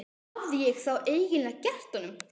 Hvað hafði ég þá eiginlega gert honum?